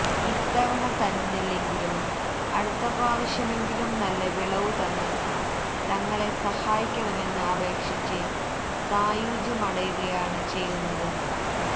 ഇത്തവണ തന്നില്ലെങ്കിലും അടുത്ത പ്രാവശ്യമെങ്കിലും നല്ല വിളവു തന്ന് തങ്ങളെ സഹായിക്കണമെന്ന് അപേക്ഷിച്ച് സായൂജ്യമടയുകയാണ് ചെയ്യുന്നത്